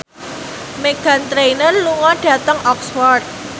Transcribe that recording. Meghan Trainor lunga dhateng Oxford